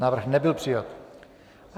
Návrh nebyl přijat.